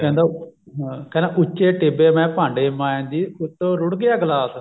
ਕਹਿੰਦਾ ਹਾਂ ਕਹਿੰਦਾ ਉੱਚੇ ਟਿੱਬੇ ਮੈਂ ਭਾਂਡੇ ਮਾਂਜਦੀ ਉੱਤੋਂ ਰੁੜ ਗਿਆ ਗਲਾਸ